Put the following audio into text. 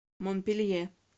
монпелье